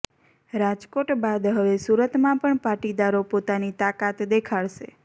રાજકોટ બાદ હવે સુરતમાં પણ પાટીદારો પોતાની તાકાત દેખાડશે